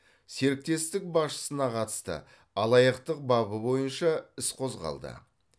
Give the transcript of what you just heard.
серіктестік басшысына қатысты алаяқтық бабы бойынша іс қозғалды